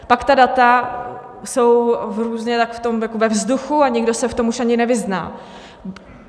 Pak ta data jsou různě jakoby ve vzduchu a někdo se v tom už ani nevyzná.